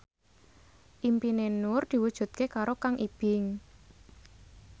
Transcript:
impine Nur diwujudke karo Kang Ibing